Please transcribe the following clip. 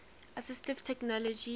assistive technology